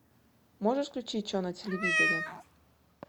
можешь включить че на телевизоре